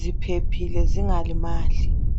ziphephile zingalimali .